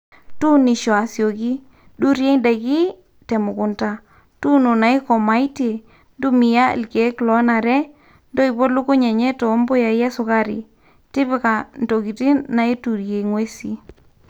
tuunisho asioki, durie idaiki temukunta, tuuno naikomaitie, ntumia ilkiek lonare, ntoipo lukuny enye too mbuyai esukari, tipika ntokitin naituria nguesi